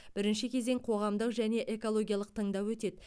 бірінші кезең қоғамдық және экологиялық тыңдау өтеді